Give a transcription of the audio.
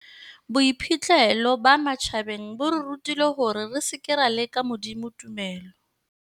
Boiphihlelo ba matjhabeng bo re rutile hore re seke ra leka Modimo tumelo.